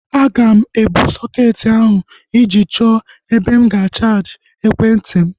Aga m ebu sọketi ahu ije chọọ ebe m ga-chaaji ekwentị m